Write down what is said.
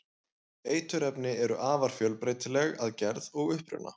eiturefni eru afar fjölbreytileg að gerð og uppruna